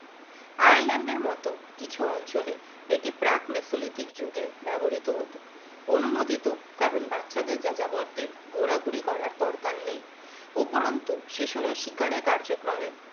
আয়ারল্যান্ডের মত কিছু অঞ্চলে একটি প্রাক নেসোলিথিক যুগে ব্যবহৃত হতো অনুমোদিত কারণ বাচ্চাদের যাযাবরদের ঘোরাঘুরি করার দরকার নেই উপরন্তু শিশুরা শিকারে কার্যক্রমে